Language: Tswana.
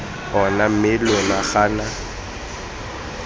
ona mme lona lo gana